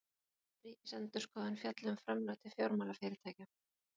Ríkisendurskoðun fjalli um framlög til fjármálafyrirtækja